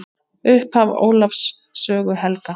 Upphaf Ólafs sögu helga.